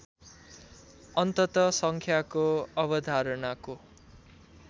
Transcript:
अन्तत सङ्ख्याको अवधारणाको